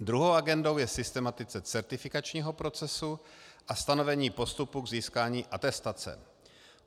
Druhou agendou je systematizace certifikačního procesu a stanovení postupu k získání atestace.